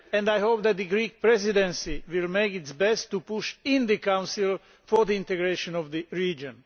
I hope that the Greek Presidency will do its best to push in the Council for the integration of the region.